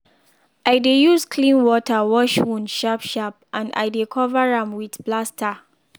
i dey use clean water wash wound sharp sharp and i dey cover am with plaster.